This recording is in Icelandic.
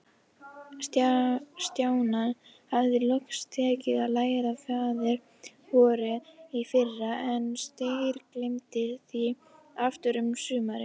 Stjána hafði loks tekist að læra Faðir-vorið í fyrra, en steingleymt því aftur um sumarið.